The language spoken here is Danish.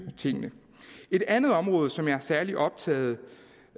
tingene et andet område som jeg er særlig optaget